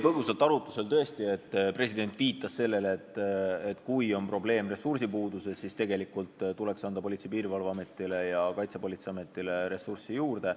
Põgusalt oli arutlusel tõesti, et president viitas sellele, et kui probleem on ressursipuuduses, siis tuleks anda Politsei- ja Piirivalveametile ning Kaitsepolitseiametile ressurssi juurde.